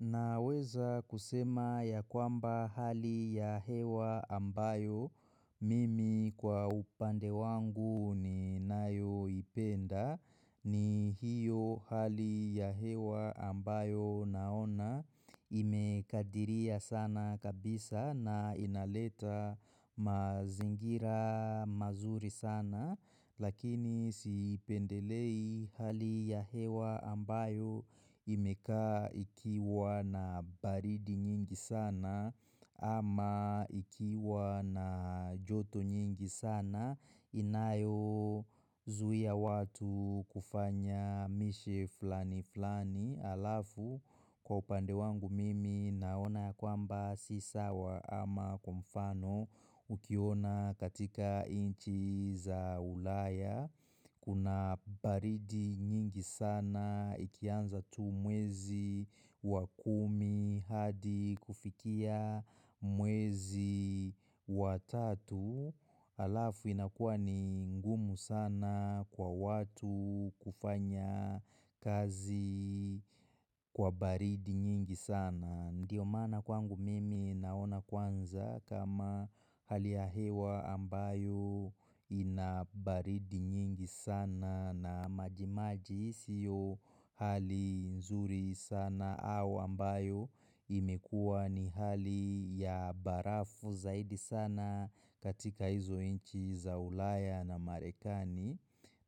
Naweza kusema ya kwamba hali ya hewa ambayo mimi kwa upande wangu ninayoipenda ni hiyo hali ya hewa ambayo naona imekadiria sana kabisa na inaleta mazingira mazuri sana. Lakini siipendelei hali ya hewa ambayo imekaa ikiwa na baridi nyingi sana ama ikiwa na joto nyingi sana inayozuia watu kufanya mishe fulani fulani halafu kwa upande wangu mimi naona kwamba si sawa ama kwa mfano ukiona katika nchi za ulaya kuna baridi nyingi sana ikianza tu mwezi wa kumi hadi kufikia mwezi wa tatu halafu inakuwa ni ngumu sana kwa watu kufanya kazi kwa baridi nyingi sana. Ndiyo maana kwangu mimi naona kwanza kama hali ya hewa ambayo ina baridi nyingi sana na majimaji siyo hali nzuri sana au ambayo imekuwa ni hali ya barafu zaidi sana katika hizo nchi za ulaya na Marekani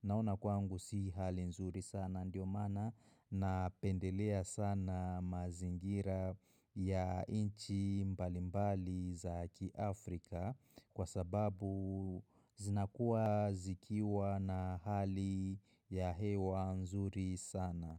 Naona kwangu si hali nzuri sana ndio maana napendelea sana mazingira ya nchi mbalimbali za kiafrika kwa sababu zinakuwa zikiwa na hali ya hewa nzuri sana.